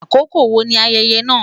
Akoko wo ni ayẹyẹ naa?